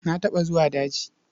Na taɓa zuwa daji.